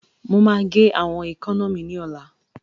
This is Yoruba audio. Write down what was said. Mo máa gé àwọn èékánná mi ní ọ̀la